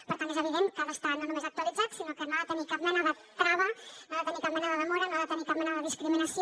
per tant és evident que ha d’estar no només actualitzat sinó que no ha de tenir cap mena de trava no ha de tenir cap mena de demora no ha de tenir cap mena de discriminació